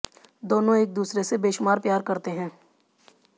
दोनों एक दूसरे से बेशुमार प्यार करते हैं